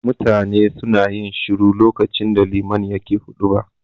Mutane suna yin shiru lokacin da liman yake huɗuba.